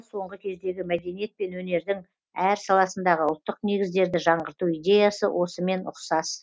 соңғы кездегі мәдениет пен өнердің әр саласындағы ұлттық негіздерді жаңғырту идеясы осымен ұқсас